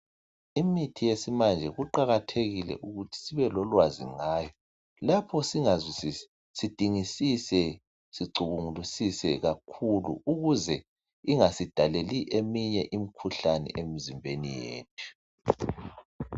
Imithi yesimanje kuqakathekile ukuthi sibe lolwazi ngayo. Lapho singazwisisi, sidingisise, sicubungulisise kakhulu ukuze ingasidaleli eminye imkhuhlani emizimbeni yethu.